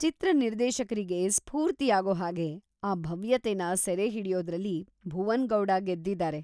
ಚಿತ್ರ-ನಿರ್ದೇಶಕರಿಗೆ ಸ್ಫೂರ್ತಿಯಾಗೋ ಹಾಗೆ ಆ ಭವ್ಯತೆನ ಸೆರೆಹಿಡಿಯೋದ್ರಲ್ಲಿ ಭುವನ್ ಗೌಡ ಗೆದ್ದಿದಾರೆ.